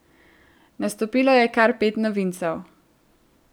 Nastopilo je kar pet novincev.